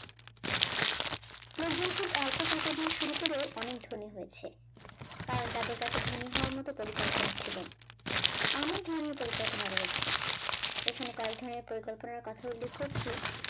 লোকজন খুব অল্প টাকা দিয়ে শুরু করেও অনেক ধনী হয়েছে কারণ তাদের কাছে ধনী হওয়ার মত পরিকল্পনা ছিল অনেক ধরনের পরিকল্পনা রয়েছে এখানে কয়েক ধরনের পরিকল্পনার কথা উল্লেখ করছি